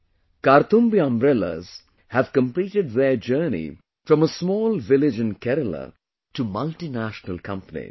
Today Karthumbi umbrellas have completed their journey from a small village in Kerala to multinational companies